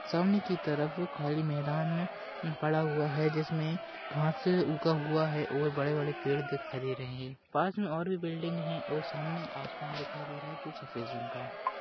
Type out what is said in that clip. सामने की तरफ खाली मैदान पड़ा हुवा हे जिस मे घास उगा हुवा हे और बड़े बड़े पेड़ दिखाई दे रहे हे। पास मे और भी बिल्डिंग हे और सामने आसमान दिखाई दे रहा हे जो सफेद रंग का हे।